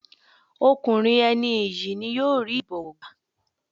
Ọkùnrin ẹni iyì ni yóò rí ìbọ̀wọ̀ gbá.